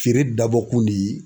Feere dabɔkun de ye.